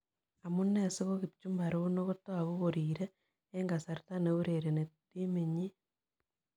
Amunee sigo kipchumba rono kotaguu koriiree eng' kasarta ne urereni timinyin